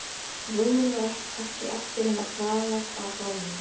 rúminu var ekki eftir nema kraðak af gormum.